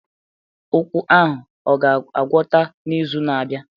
Ụkwụ ahụ ọ ga-agwọta n'izu na-abịa?